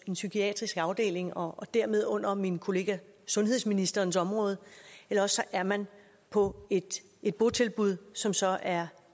en psykiatrisk afdeling og dermed under min kollega sundhedsministerens område eller også er man på et et botilbud som så er